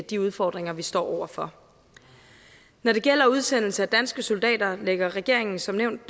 de udfordringer vi står over for når det gælder udsendelse af danske soldater lægger regeringen som nævnt